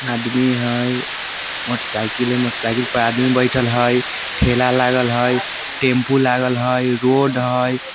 आदमी हई मोटरसाइकिल हई मोटरसाइकिल पर आदमी बैठल हई ठेला लागल हई टेम्पो लागल हई रोड हई।